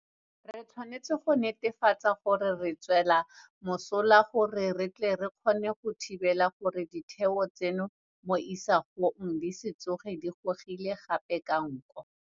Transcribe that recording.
Re tshwanetse go netefatsa gore re e swela mosola gore re tle re kgone go thibela gore ditheo tseno mo isagong di se tsoge di gogilwe gape ka nko.